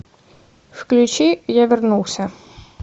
включи я вернулся